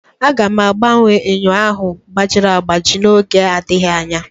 Aga m agbanwe enyo ahụ gbajiri agbaji n'oge adịghị anya